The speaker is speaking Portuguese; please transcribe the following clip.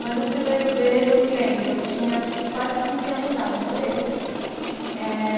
Mas o primeiro beijo eu me lembro, eu tinha acho que quase quinze anos já, eu demorei.